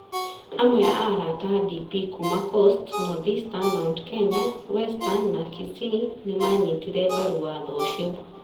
Amwe a arata a DP kuuma coast, North Eastern, Mt Kenya, Western na Kisii nĩ maanyitire mbaru watho ũcio,